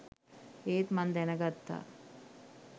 ඒත් මං දැනගත්තා